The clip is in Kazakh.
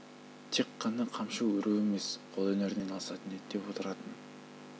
тек қана қамшы өру емес қолөнердің бірнеше түрімен айналысатын еді деп отыратын